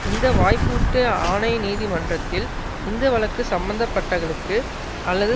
இந்த வாய்ப்பூட்டு ஆணை நீதிமன்றத்தில் இந்த வழக்கு சம்மந்தப்பட்டகளுக்கு அல்லது